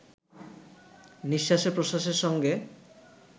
নিঃশ্বাসে-প্রশ্বাসের সঙ্গে